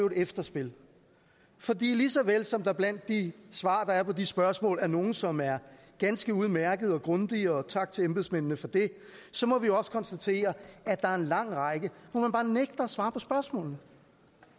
et efterspil for lige så vel som der blandt de svar der er på de spørgsmål er nogle som er ganske udmærkede og grundige og tak til embedsmændene for det så må vi også konstatere at der er en lang række hvor man bare nægter at svare på spørgsmålene